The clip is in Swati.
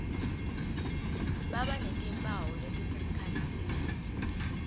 baba netimphawu letisemkhatsini